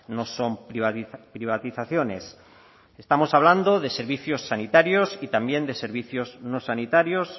no son privatizaciones estamos hablando de servicios sanitarios y también de servicios no sanitarios